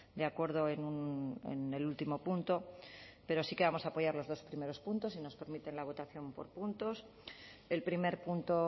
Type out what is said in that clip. de acuerdo en el último punto pero sí que vamos a apoyar los dos primeros puntos si nos permiten la votación por puntos el primer punto